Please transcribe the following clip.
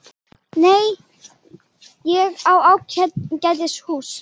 Nei, ég á ágætis hús.